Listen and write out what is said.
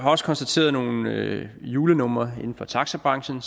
også konstateret nogle julenumre inden for taxabranchen